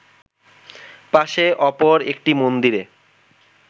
পাশে অপর একটি মন্দিরে